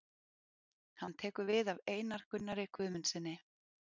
Hann tekur við af Einar Gunnari Guðmundssyni.